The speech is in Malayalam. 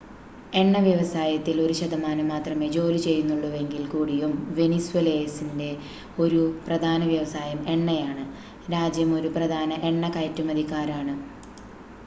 എണ്ണ വ്യവസായത്തിൽ ഒരു ശതമാനം മാത്രമേ ജോലി ചെയ്യുന്നുള്ളൂവെങ്കിൽ കൂടിയും വെനിസ്വേലൻസിലെ ഒരു പ്രധാന വ്യവസായം എണ്ണയാണ് രാജ്യം ഒരു പ്രധാന എണ്ണ കയറ്റുമതിക്കാരാണ്